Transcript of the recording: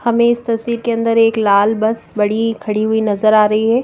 हमें इस तस्वीर के अंदर एक लाल बस बड़ी खड़ी हुई नजर आ रही है।